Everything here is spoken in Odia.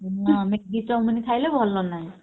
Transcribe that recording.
ହଁ maggie chowmein ଖାଇଲେ ଭଲ ନାଇଁ।